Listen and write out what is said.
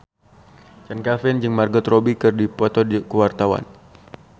Chand Kelvin jeung Margot Robbie keur dipoto ku wartawan